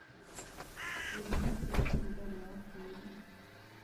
Gĩthimi gĩa ũrugarĩ wa tĩri